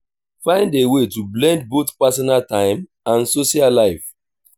find a way to blend both personal time and social life